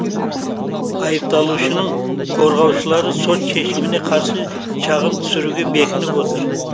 айыпталушының қорғаушылары сот шешіміне қарсы шағым түсіруге бекініп отыр